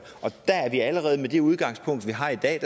og der har vi allerede med det udgangspunkt vi har i dag